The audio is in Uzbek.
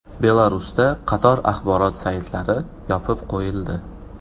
Belarusda qator axborot saytlari yopib qo‘yildi.